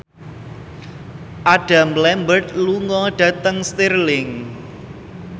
Adam Lambert lunga dhateng Stirling